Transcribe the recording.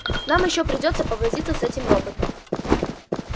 нам ещё придётся повозиться с этим роботом